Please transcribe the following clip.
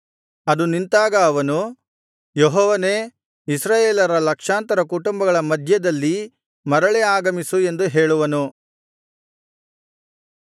ಅದು ನಿಂತಾಗ ಅವನು ಯೆಹೋವನೇ ಇಸ್ರಾಯೇಲರ ಲಕ್ಷಾಂತರ ಕುಟುಂಬಗಳ ಮಧ್ಯದಲ್ಲಿ ಮರಳಿ ಆಗಮಿಸು ಎಂದು ಹೇಳುವನು